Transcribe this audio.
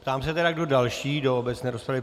Ptám se tedy, kdo další do obecné rozpravy?